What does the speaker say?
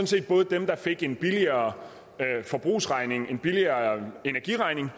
set både dem der fik en billigere forbrugsregning en billigere energiregning